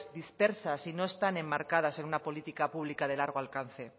dispersas y no están enmarcadas en una política pública de largo alcance